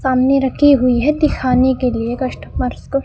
सामने रखी हुई है दिखाने के लिए कस्टमर्स को--